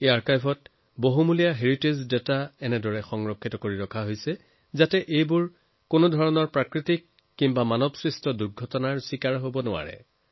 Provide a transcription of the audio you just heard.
এই আৰ্কাইভত বহুমূলীয়া ঐতিহ্য সংক্ৰান্ত তথ্য এনেদৰে ৰখা আছে যে কোনো ধৰণৰ প্ৰাকৃতিক বা মানুৱসৃষ্ট দুৰ্যোগেও সেয়া প্ৰভাৱিত কৰিব নোৱাৰে